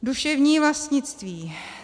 Duševní vlastnictví.